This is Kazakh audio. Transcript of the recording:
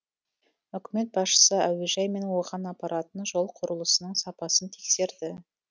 үкімет басшысы әуежай мен оған апаратын жол құрылысының сапасын тексерді